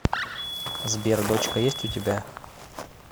сбер дочка есть у тебя